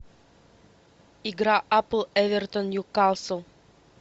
игра апл эвертон ньюкасл